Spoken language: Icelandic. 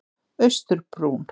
Austurbrún